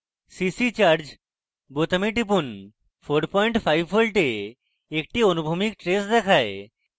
cc charge বোতামে টিপুন 45 volts একটি অনুভূমিক trace দেখায়